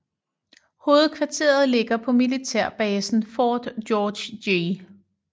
Hovedkvarteret ligger på militærbasen Fort George G